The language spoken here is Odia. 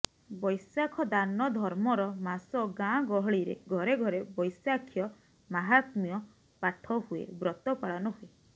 ବୈଶାଖ ଦାନଧର୍ମର ମାସ ଗାଁ ଗହଳିରେ ଘରେ ଘରେ ବୈଶାଖ୍ୟ ମାହାତ୍ମ୍ୟ ପାଠ ହୁଏ ବ୍ରତ ପାଳନ ହୁଏ